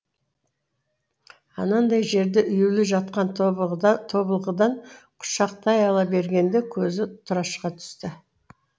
анандай жерде үюлі жатқан тобылғыдан құшақтай ала бергенде көзі тұрашқа түсті